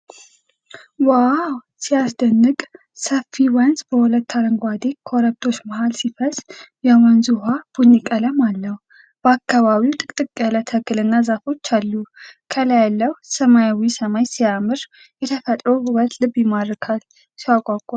ዋው ሲያስደንቅ! ሰፊ ወንዝ በሁለት አረንጓዴ ኮረብታዎች መሃል ሲፈስ። የወንዙ ውሃ ቡኒ ቀለም አለው። በአካባቢው ጥቅጥቅ ያለ ተክልና ዛፎች አሉ። ከላይ ያለው ሰማያዊ ሰማይ ሲያምር! የተፈጥሮ ውበት ልብን ይማርካል! ሲያጓጓ!